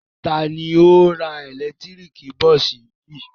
Ta ni ó ra ẹ̀lẹ́tíríkì bọ́ọ́sì yìí?